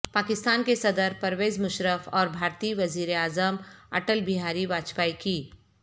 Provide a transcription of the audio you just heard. پاکستان کے صدر پرویز مشرف اور بھارتی وزیر اعظم اٹل بہاری واجپئی کی